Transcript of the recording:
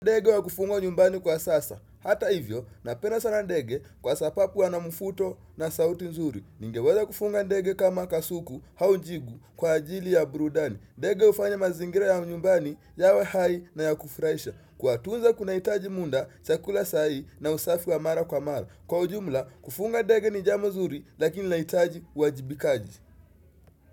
Ndege wa kufungwa nyumbani kwa sasa. Hata hivyo, napenda sana ndege kwa sababu wana mvuto na sauti nzuri. Ningeweza kufuga ndege kama kasuku au jigu kwa ajili ya burudani. Ndege hufanya mazingira ya nyumbani yawe hai na ya kufurahisha. Kuwatunza kunahitaji muda, chakula sahihi na usafi wa mara kwa mara. Kwa ujumla, kufuga ndege ni jambo zuri lakini linahitaji uwajibikaji.